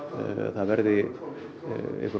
það verði